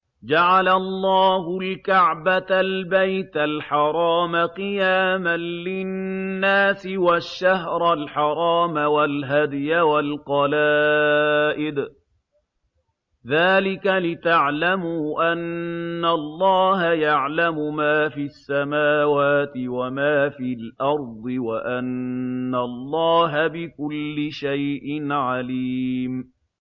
۞ جَعَلَ اللَّهُ الْكَعْبَةَ الْبَيْتَ الْحَرَامَ قِيَامًا لِّلنَّاسِ وَالشَّهْرَ الْحَرَامَ وَالْهَدْيَ وَالْقَلَائِدَ ۚ ذَٰلِكَ لِتَعْلَمُوا أَنَّ اللَّهَ يَعْلَمُ مَا فِي السَّمَاوَاتِ وَمَا فِي الْأَرْضِ وَأَنَّ اللَّهَ بِكُلِّ شَيْءٍ عَلِيمٌ